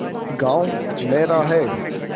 गॉँव मेरा है